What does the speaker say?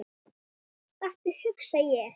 Stattu, hugsa ég.